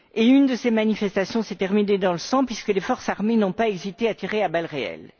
Une de ces manifestations s'est terminée dans le sang puisque les forces armées n'ont pas hésité à tirer à balles réelles.